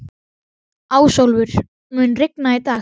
Ásólfur, mun rigna í dag?